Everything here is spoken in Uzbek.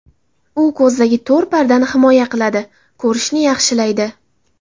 U ko‘zdagi to‘r pardani himoya qiladi, ko‘rishni yaxshilaydi.